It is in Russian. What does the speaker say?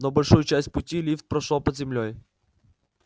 но большую часть пути лифт прошёл под землёй